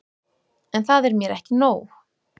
En það er mér ekki nóg.